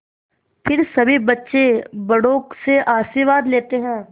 फिर सभी बच्चे बड़ों से आशीर्वाद लेते हैं